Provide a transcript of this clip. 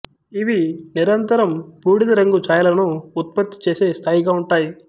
ఇవి నిరంతరం బూడిద రంగు ఛాయలను ఉత్పత్తి చేసే స్థాయిగా ఉంటాయి